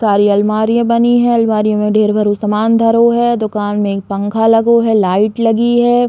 सारी अलमारिया बनी हैं। अलमारी में ढ़ेर भरो समान धरो है। दुकान में एक पंखा लगो है। लाइट लगी है।